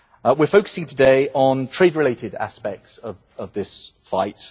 We are focusing today on trade related aspects of this fight.